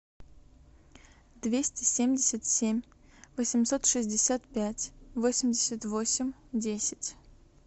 двести семьдесят семь восемьсот шестьдесят пять восемьдесят восемь десять